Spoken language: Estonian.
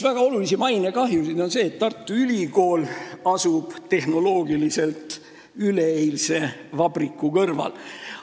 Väga oluline mainekahju tuleneb sellest, et Tartu Ülikool asuks tehnoloogia mõttes üleeilse vabriku kõrval.